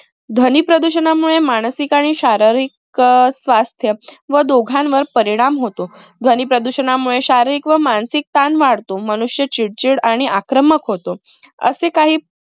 ध्वनी प्रदूषणामुळे मानसिक आणि शारीरिक अं स्वास्थ्य व दोघांवर परिणाम होतो. ध्वनी प्रदूषणामुळे शारीरिक व मानसिक ताण वाढतो. मनुष्य चिडचिड आणि आक्रमक होतो. असे काही